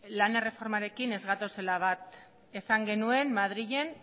lan erreformarekin ez gatozela bat esan genuen madrilen